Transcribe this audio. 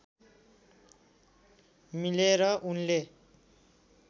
मिलेर उनले